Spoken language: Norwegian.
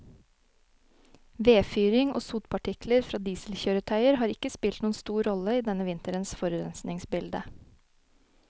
Vedfyring og sotpartikler fra dieselkjøretøyer har ikke spilt noen stor rolle i denne vinterens forurensningsbilde.